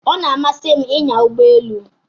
O na-amasị m inya Ụgbọ elu